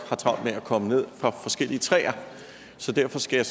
har travlt med at komme ned fra forskellige træer så derfor skal jeg